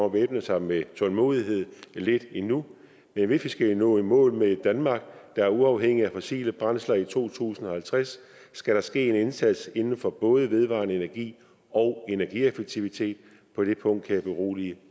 at væbne sig med tålmodighed lidt endnu men hvis vi skal nå i mål med et danmark der er uafhængigt af fossile brændsler i to tusind og halvtreds skal der ske en indsats inden for både vedvarende energi og energieffektivitet på det punkt kan jeg berolige